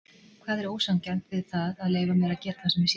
Hvað er ósanngjarnt við það að leyfa mér að gera það sem mér sýnist?